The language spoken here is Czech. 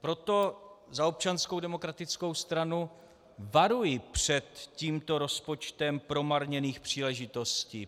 Proto za Občanskou demokratickou stranu varuji před tímto rozpočtem promarněných příležitostí.